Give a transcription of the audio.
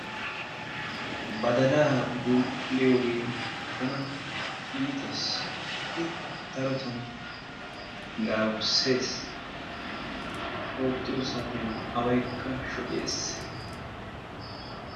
badalaa bull''iyooge tana iitees. I darotoon daaburssees. oottiyo saatiyaan awaykka shoccees.